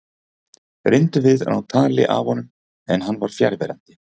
Reyndum við að ná tali af honum en hann var fjarverandi.